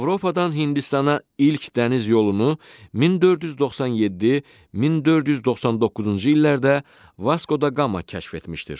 Avropadan Hindistana ilk dəniz yolunu 1497-1499-cu illərdə Vasko da Gama kəşf etmişdir.